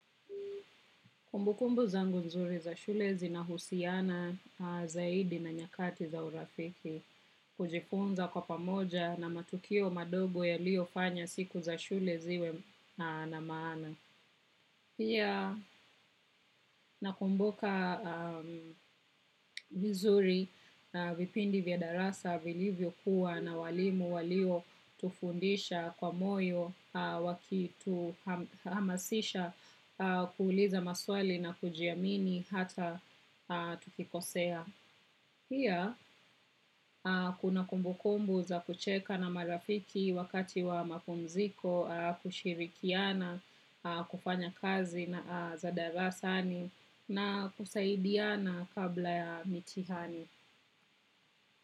Kumbukumbu zangu nzuri za shule zinahusiana zaidi na nyakati za urafiki kujifunza kwa pamoja na matukio madogo yalio fanya siku za shule ziwe na maana. Pia nakumbuka vizuri vipindi vya darasa vilivyo kuwa na walimu walio tufundisha kwa moyo wa kituhamasisha kuuliza maswali na kujiamini hata tukikosea. Pia kuna kumbukumbu za kucheka na marafiki wakati wa mapumziko kushirikiana kufanya kazi ya darasani na kusaidiana kabla ya mitihani.